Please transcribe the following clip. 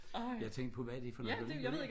Jeg tænkte på hvad er det for noget det